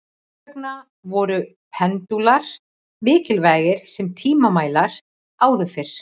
þess vegna voru pendúlar mikilvægir sem tímamælar áður fyrr